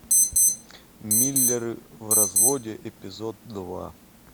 миллеры в разводе эпизод два